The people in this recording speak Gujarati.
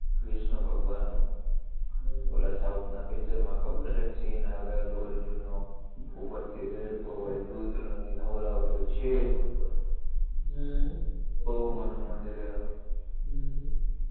વિષ્ણુ ભગવાનનું હમ ઓલા સાઉથના પીચરમાં ખબર એક સીન આવે અલ્લુ અર્જુનનો ઉપરથી રેળતો હોય દૂધથી નવરાવતો હોયને છેક ઉપર હમ હમ બોવ મોટું મંદિર હે હમ